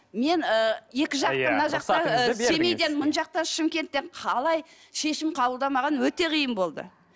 мен ы екі жақтың мына жақта ы семейден мына жақта шымкенттен қалай шешім қабылдау маған өте қиын болды